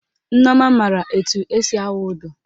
Nneọma maara etu esi awụ ụdọ